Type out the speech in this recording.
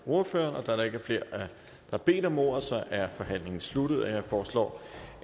ordføreren da der ikke er flere der har bedt om ordet er forhandlingen sluttet jeg foreslår